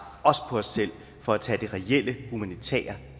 også på os selv for at tage det reelle humanitære